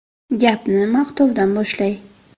Gapni maqtovdan boshlay.